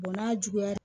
n'a juguyara